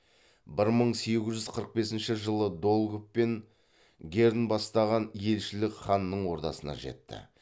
бір мың сегіз жүз қырық бесінші жылы долгов пен герн бастаған елшілік ханның ордасына жетті